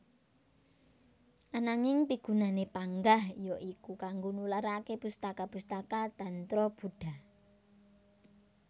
Ananging pigunané panggah ya iku kanggo nularaké pustaka pustaka tantra Buddha